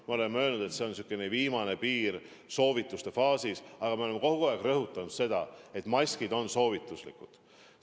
Me oleme öelnud, et soovituse faasis on käes viimane piir, aga me oleme kogu aeg rõhutanud, et maskid on soovituslikud.